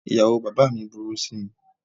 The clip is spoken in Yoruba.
Ìyàwó bàbá mi burú sí mi.